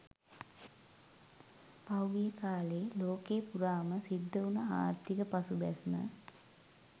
පහුගිය කාලේ ලෝකේ පුරාම සිද්ධ උන ආර්ථික පසුබැස්ම